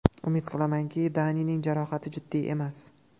Umid qilamanki, Danining jarohati jiddiy emas.